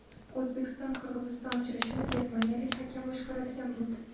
O‘zbekiston Qirg‘iziston uchrashuvini germaniyalik hakam boshqaradigan bo‘ldi.